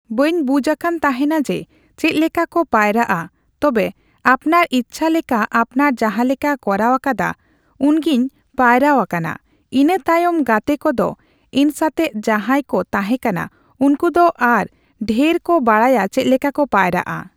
ᱵᱟᱹᱧ ᱵᱩᱡᱷ ᱟᱠᱟᱱ ᱛᱟᱦᱮᱱᱟ ᱡᱮ ᱪᱮᱫᱞᱮᱠᱟᱠᱚ ᱯᱟᱭᱨᱟᱜ ᱟ ᱛᱚᱵᱮ ᱟᱯᱱᱟᱨ ᱤᱪᱷᱟ ᱞᱮᱠᱟ ᱟᱯᱱᱟᱨ ᱡᱟᱦᱟᱞᱮᱠᱟ ᱠᱚᱨᱟᱣ ᱟᱠᱟᱫᱟ ᱩᱱᱜᱤᱧ ᱯᱟᱭᱨᱟᱣ ᱟᱠᱟᱱᱟ ᱤᱱᱟᱹ ᱛᱟᱭᱚᱢ ᱜᱟᱛᱮ ᱠᱚᱫᱚ ᱤᱧᱥᱟᱛᱮᱜ ᱡᱟᱦᱟᱸᱭᱠᱩ ᱛᱟᱦᱮᱸ ᱠᱟᱱᱟ ᱩᱱᱠᱩᱫᱚ ᱟᱨᱚ ᱰᱷᱮᱨᱠᱚ ᱵᱟᱲᱟᱭᱟ ᱪᱮᱫᱞᱮᱠᱟᱠᱚ ᱯᱟᱭᱨᱟᱜᱼᱟ ᱾